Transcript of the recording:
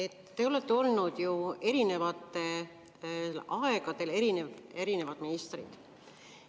Te olete ju erinevatel aegadel erinevate ministrite.